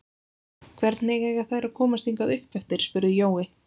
Hvernig eiga þær að komast hingað uppeftir? spurði Jói.